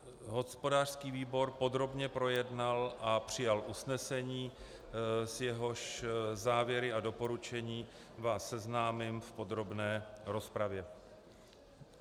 Hospodářský výbor podrobně projednal a přijal usnesení, s jehož závěry a doporučením vás seznámím v podrobné rozpravě.